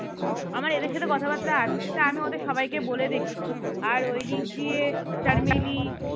আমার এদের সাথে কথাবার্তা আছে তা আমি ওদের সবাই কে বলি দেখি আর ঐ দিক দিয়ে শর্মিলী